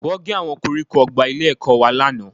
Wọ́n gé àwọn koríko ọgbà ilé-ẹ̀kọ́ wa lánàá